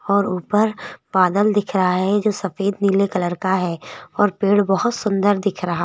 और ऊपर बादल दिख रहा है जो सफेद नीले कलर का है और पेड़ बहुत सुंदर दिख रहा--